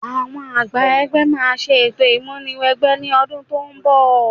Àwọn àgbà ẹgbẹ́ máa ṣe ètò ìmúni wẹgbẹ́ lọ́dún tó ń bọ̀